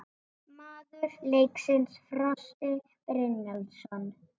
Maður leiksins: Frosti Brynjólfsson